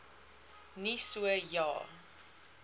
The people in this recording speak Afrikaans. nie so ja